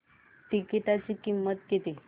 तिकीटाची किंमत किती